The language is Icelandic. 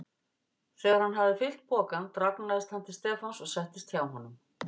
Þegar hann hafði fyllt pokann dragnaðist hann til Stefáns og settist hjá honum.